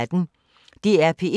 DR P1